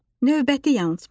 Növbəti yanılmac.